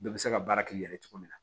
Bɛɛ bɛ se ka baara k'i yɛrɛ ye cogo min na